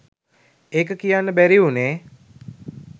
ඒක කියන්න බැරි වුණේ